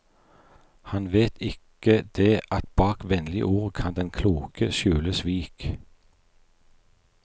Han vet ikke det at bak vennlige ord kan den kloke skjule svik.